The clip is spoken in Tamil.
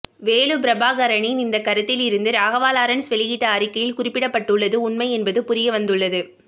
வேலு பிரபாகரனின் இந்த கருத்திலிருந்து ராகவா லாரன்ஸ் வெளியிட்ட அறிக்கையில் குறிப்பிடப்பட்டுள்ளது உண்மை என்பது புரிய வந்துள்ளது